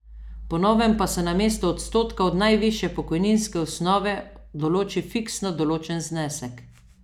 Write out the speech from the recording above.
Po novem pa se namesto odstotka od najvišje pokojninske osnove določi fiksno določen znesek.